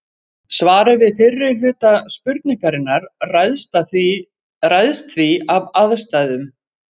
Svarið við fyrri hluta spurningarinnar ræðst því af aðstæðum.